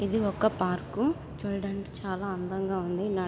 ఇది ఒక పార్కు . చూడడానికి చాలా అందంగా ఉంది. నడవ్ --